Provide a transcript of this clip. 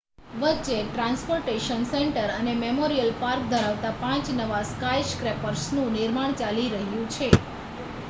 વચ્ચે transportation centre અને memorial park ધરાવતા પાંચ નવા સ્કાયસ્ક્રેપર્સનુ નિર્માણ ચાલી રહ્યું છે